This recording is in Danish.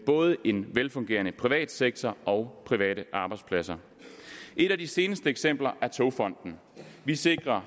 både en velfungerende privat sektor og private arbejdspladser et af de seneste eksempler er togfonden vi sikrer